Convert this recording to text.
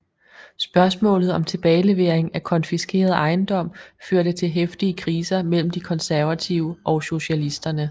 Spørgsmålet om tilbagelevering af konfiskeret ejendom førte til heftige kriser mellem de konservative og socialisterne